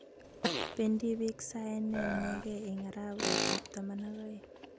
Bendii biik sae ne inegei eng arawekab taman ak oeng.